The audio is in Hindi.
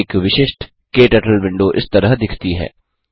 एक विशिष्ट क्टर्टल विंडो इस तरह दिखती है